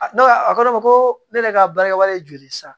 A ne ka a ko ne ma ko ne yɛrɛ ka baarakɛwalen ye joli ye sa